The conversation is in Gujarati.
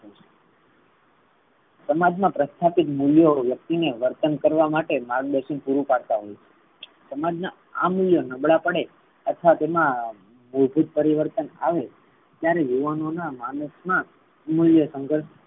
સમાજ મા પ્રસ્થાપિત મૂલ્યો વ્યક્તિને વર્તન કરવા માટે માર્ગદર્શન પૂરું કરતા હોઈ છે. સમાજ ના આ મૂલ્યો નબળા પડે અર્થાત એમાં બૌદ્ધિક પરિવર્તન આવે ત્યારે યુવાનો ના માણસ મા મૂલ્ય સંઘર્ષ